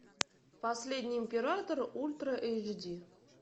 последний император ультра эйч ди